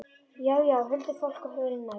Já, já, huldufólk og hulin öfl.